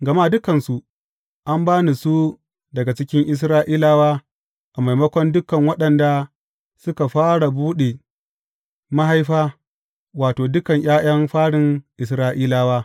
Gama dukansu an ba ni su daga cikin Isra’ilawa a maimakon dukan waɗanda suka fara buɗe mahaifa, wato, dukan ’ya’yan farin Isra’ilawa.